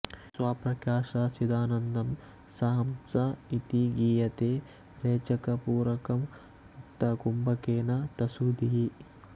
ಸ್ವಪ್ರಕಾಶ ಚಿದಾನಂದಂ ಸ ಹಂಸ ಇತಿ ಗೀಯತೇ ರೇಚಕ ಪೂರಕಂ ಮುಕ್ತಾ ಕುಂಭಕೇನ ತಸ್ಸುಧೀಃ